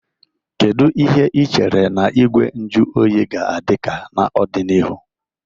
Kedu ihe ị chere na Igwe nju oyi ga-adị ka n'ọdịnihu?